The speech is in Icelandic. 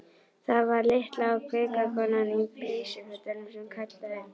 Það var litla og kvika konan í peysufötunum sem kallaði.